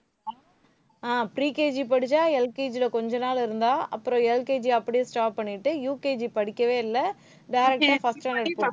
ஆஹ் pre KG படிச்சா LKG ல கொஞ்ச நாள் இருந்தா அப்புறம் LKG அப்பிடியே stop பண்ணிட்டு UKG படிக்கவே இல்லை direct அ first standard போ~